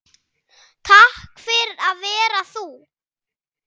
Takk fyrir að vera þú.